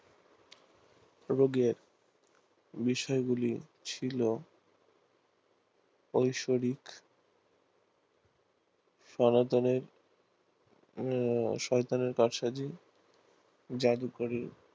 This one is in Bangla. রোগের বিষয়গুলি ছিল ঐশ্বরিক সনাতনের শয়তানের কারসাজি জাদুকরি